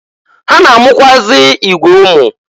Ha na-amụkwụazị igwe ụmụ.